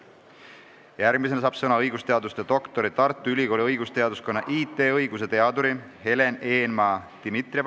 Järgmisena saab sõna õigusteaduse doktor, Tartu Ülikooli õigusteaduskonna IT-õiguse teadur Helen Eenmaa-Dimitrieva.